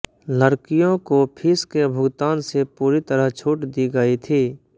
लड़कियों को फीस के भुगतान से पूरी तरह छूट दी गई थी